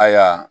Ayiwa